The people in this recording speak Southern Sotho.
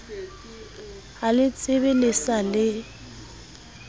a letsebe le sa le